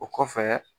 O kɔfɛ